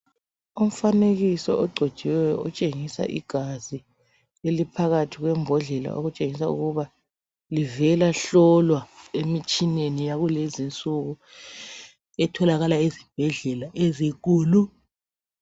Umfanekiso ogcotshiweyo otshengisa igazi eliphakathi kwembodlela okutshengisa ukuba livelahlolwa emitshineni yakulezinsuku etholakala ezibhedlela ezinkulu.